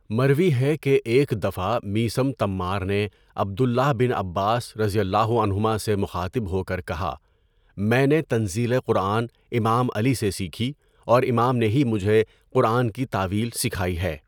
مروی ہے کہ ایک دفعہ میثم تَمّار نے عبد اللہ بن عباس رضی اللہ عنہُما سے مخاطب ہو کر کہا، میں نے تنزیلِ قرآن امام علی سے سیکھی اور امام نے ہی مجھے قرآن کی تاویل سکھائی ہے۔